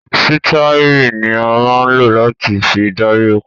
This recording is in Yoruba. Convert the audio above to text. Sítíẹ́rì ní a máa ń lò láti fi darí ọkọ̀.